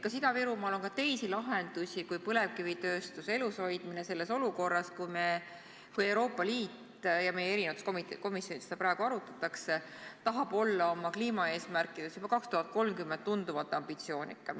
Kas Ida-Virumaal on ka teisi lahendusi kui põlevkivitööstuse elus hoidmine selles olukorras, kus Euroopa Liit – ja meie eri komisjonides seda praegu arutatakse – tahab olla oma kliimaeesmärkides juba 2030 tunduvalt ambitsioonikam?